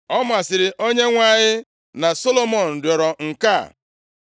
Ọ masịrị Onyenwe anyị na Solomọn rịọrọ nke a.